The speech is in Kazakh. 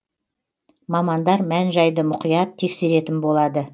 мамандар мән жайды мұқият тексеретін болады